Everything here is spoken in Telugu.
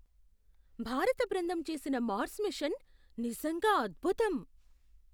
భారత బృందం చేసిన మార్స్ మిషన్ నిజంగా అద్భుతం!